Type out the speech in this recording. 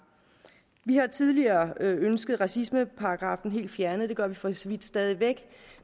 vi har tidligere ønsket racismeparagraffen helt fjernet og det gør vi for så vidt stadig væk